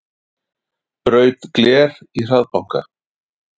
Braut gler í hraðbanka